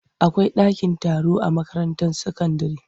Akwai dakin taro a makaranta sakandire.